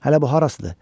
Hələ bu harasıdır?